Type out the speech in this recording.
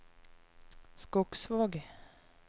Skogsvåg